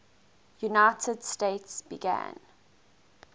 united states began